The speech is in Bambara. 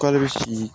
K'ale bɛ sigi